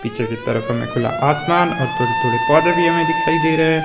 पीछे की तरफ हमें खुला आसमान और थोड़े थोड़े पौधे भी हमें दिखाई दे रहे है।